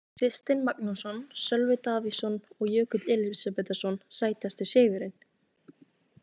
Kristinn Magnússon, Sölvi Davíðsson og Jökull Elísabetarson Sætasti sigurinn?